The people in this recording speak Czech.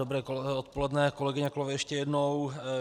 Dobré odpoledne, kolegyně, kolegové, ještě jednou.